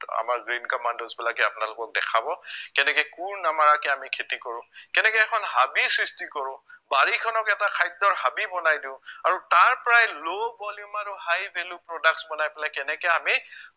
আমাৰ green commandos বিলাকে আপোনালোকক দেখাব কেনেকে কোৰ নমৰাকে আমি খেতি কৰো কেনেকে এখন হাবি সৃষ্টি কৰো বাৰীখনক এটা খাদ্য়ৰ হাবি বনাই দিও আৰু তাৰপৰাই low polymer ৰ high value products বনাই পেলাই কেনেকে আমি